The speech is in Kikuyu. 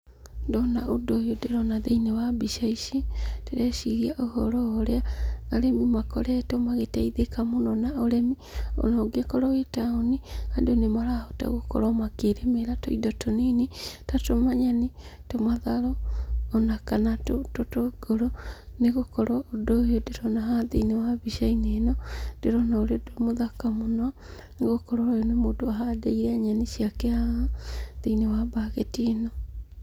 Ndona ũndũ ũyũ ndĩrona thĩiniĩ wa mbica ici ndĩreciria ũhoro wa ũrĩa arĩmi makoretwo magĩteithĩka mũno na ũrĩmi. Ona ũngĩkorwo wĩ taũni, andũ nĩmarahota gũkorwo makĩrĩmĩra tũindo tũnini ta tũmanyeni, tũmatharũ ona kana tũtũngũrũ. Nĩgũkorwo ũndũ ũyũ ndĩrona haha thĩiniĩ wa mbica ĩno ndĩrona wĩ mũthaka mũno, nĩgũkorwo ũyũ nĩ mũndũ ũhandĩire nyeni ciake haha thĩiniĩ wa mbaketi ĩno.